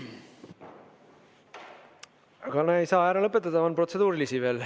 Aga ei saa ära lõpetada, on protseduurilisi veel.